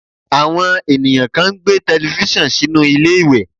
Àwọn ènìyàn kan ń gbé tẹlifísàn sínú ilé ìwẹ̀